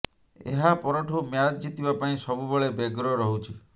ଏହା ପରଠୁ ମ୍ୟାଚ୍ ଜିତିବା ପାଇଁ ସବୁବେଳେ ବ୍ୟଗ୍ର ରହୁଛି